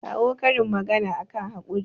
kawo karin magana akan haƙuri